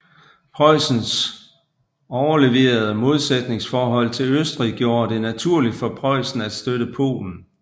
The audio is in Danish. Preussens overleverede modsætningsforhold til Østrig gjorde det naturligt for Preussen at støtte Polen